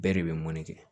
Bɛɛ de bɛ mɔni kɛ